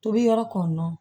Tobi yɔrɔ kɔni